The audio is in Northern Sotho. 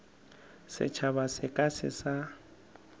setšhaba se ka se sa